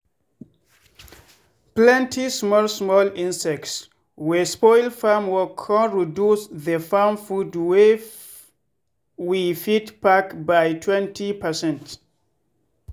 plenty small small insects wey spoil farm work con reduce the farm food wey we fit pack by 20percent.